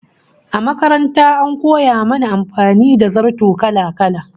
A makaranta an koya mana amfani da zarto kala-kala